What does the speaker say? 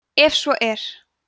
ef svo er